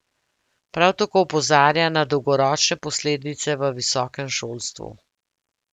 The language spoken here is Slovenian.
Prav tako opozarja na dolgoročne posledice v visokem šolstvu.